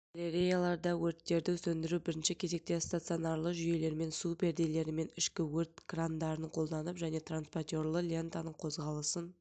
галереяларда өрттерді сөндіру бірінші кезекте стационарлы жүйелермен су перделерімен ішкі өрт крандарын қолданып және транспортерлы лентаның қозғалысын